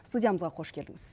студиямызға қош келдіңіз